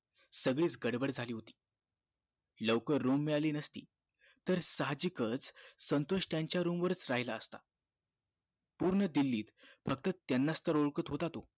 सगळीच गडबड झाली होती लवकर room मिळाली नसती तर साहजिक च संतोष त्याच्या room वर च राहिला असता पुर्ण दिल्लीत त्यानाच तर ओळखतात होता तो